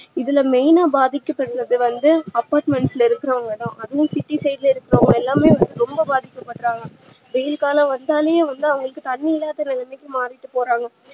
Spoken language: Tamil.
இதுல main ஆ பாதிக்கபடறது வந்து apartment ல இருக்குறவங்கதா அதுவும் city ல இருக்குறவங்க எல்லாருமே ரொம்ப பாதிக்க படுறாங்க வெயில் காலம் வந்தாலே உள்ள அவங்களுக்கு தண்ணீ இல்லாத நிலமைக்கி மாறிட்டு போறாங்க